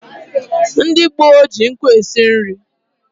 Ndị gboo ji nkụ esi nri